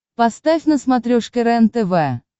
поставь на смотрешке рентв